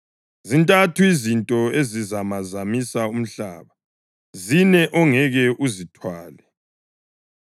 Zintathu izinto ezizamazamisa umhlaba, zine ongeke uzithwale: